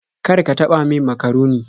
Kar ka taɓa min makaroni.